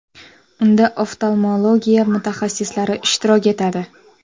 Unda oftalmologiya mutaxassislari ishtirok etadi.